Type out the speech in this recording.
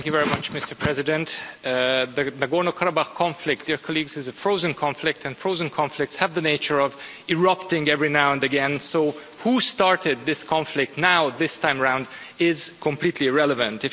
Mr President, the Nagorno-Karabakh conflict is a frozen conflict and frozen conflicts have the nature of erupting every now and again. So who started this conflict now, this time round, is completely irrelevant.